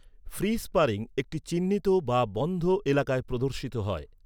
Free sparring একটি চিহ্নিত বা বন্ধ এলাকায় প্রদর্শিত হয়।